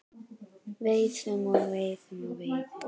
Veiðum og veiðum og veiðum.